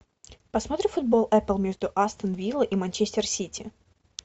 посмотрим футбол апл между астон виллой и манчестер сити